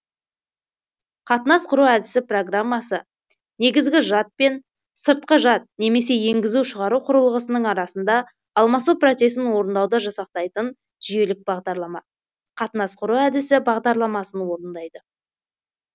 қатынас құру әдісі программасы негізгі жад пен сыртқы жад немесе енгізу шығару құрылғысының арасында алмасу процесін орындауды жасақтайтын жүйелік бағдарлама қатынас құру әдісі бағдарламасын орындайды